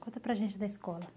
Conta para a gente da escola.